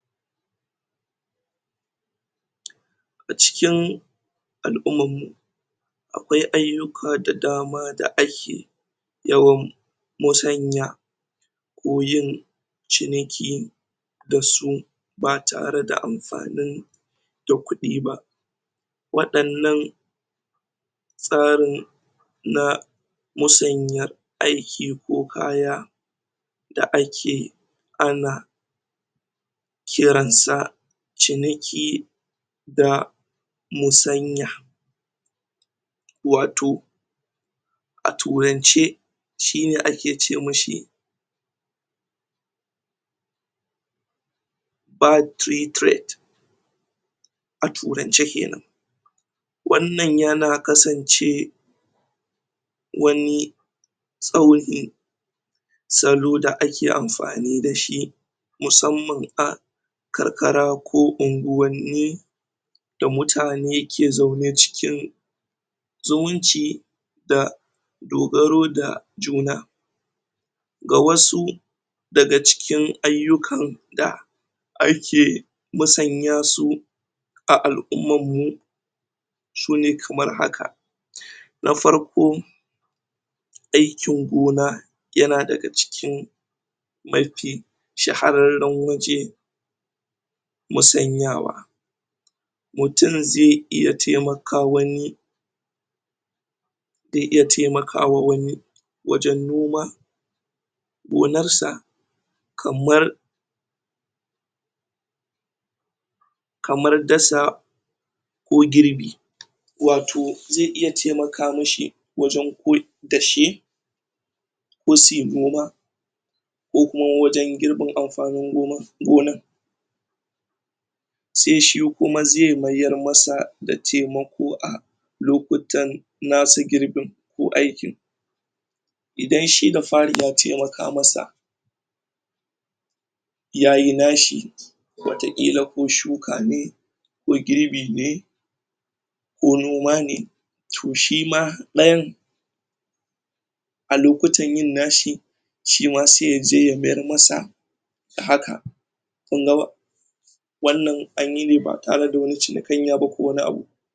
Acikin alumman mu akwai ayuka da dama da ake yawan motsanya ko yin ciniki da su, ba tare da amfanin da kudi ba. Wadanan tsarin na musanya aiki ko kaya da ake a na ki ran sa ciniki da musanya watoh a turance shi ne ake ce mishi a turance keman wannan ya na kasance wani salo da ake amfani da shi musamman a karkara ko ungwani da mutane ke zaune cikin zumunci da dogaro da juna ga wasu daga cikin ayukan da ake masanya su a alumman mu su ne kamar haka na farko aikin gona, ya na daga cikin mafi shahararan waje musanyawa mutum ze iya temaka wani ze iya temaka wa wani wajen noma gonar sa kamar kamar dasa ko girbi watoh ze iya temaka mishi wajen da shi ko su yi noma ko kuma wajen girbin amfanin [/] gona se shi kuma ze mayar ma sa da temako a lokutan nasu girbin ko aikin idan shi da fari ya temaka ma sa, ya yi na shi watakila ko shuka ne ko girbi ne ko noma ne, toh shi ma dayan a lokutan yin nashi, shi ma se ya je ya mayar ma sa da haka kun ga ba wannan an yi ne ba tare da wani cinakanya ba ko wani abu.